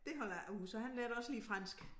Det holder jeg ikke ud så han lærte også lige fransk